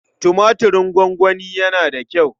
Tumatirin gongoni yana da kyau.